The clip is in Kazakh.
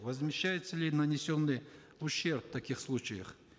возмещается ли нанесенный ущерб в таких случаях